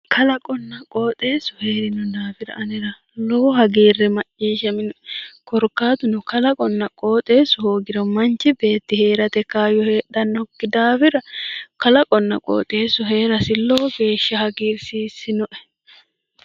Kalaqonna qooxeessu heerino daafira anera lowo hagiirri macciishshaminoe. Korkaatuno kalaqonna qooxeessu hoogiro manchu beeti heerate kaayyo heedhannokki daafira kalaqonna qooxeessu heerasi lowo geeshsha hagiirsiissinoe.